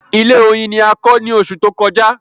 Ilé oyin ni a kọ ní oṣù tó kọjá